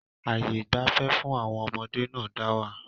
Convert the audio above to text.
Ààyè ìgbafẹ́ fún àwọn ọmọdé náà dá wà.